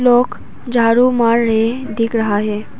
लोग झाड़ू मार रहे दिख रहा है।